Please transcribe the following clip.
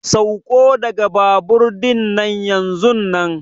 Sauko daga babur dinnan yanzunnan!